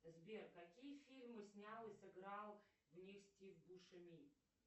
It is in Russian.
сбер какие фильмы снял и сыграл в них стив бушеми